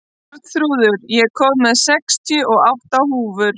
Arnþrúður, ég kom með sextíu og átta húfur!